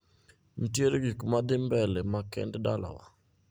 Ntiere gikmadhii mbele makende dalawa?